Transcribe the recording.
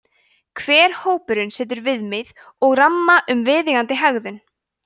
hver hópur setur viðmið eða ramma um viðeigandi hegðun